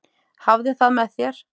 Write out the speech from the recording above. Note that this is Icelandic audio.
Hafðu það með þér.